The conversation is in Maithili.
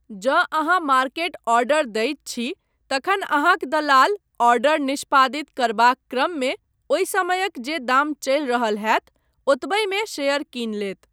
जँ अहाँ मार्केट ऑर्डर दैत छी तखन अहाँक दलाल आर्डर निष्पादित करबाक क्रममे ओहि समयक जे दाम चलि रहल होयत ओतबहिमे शेयर कीनि लेत।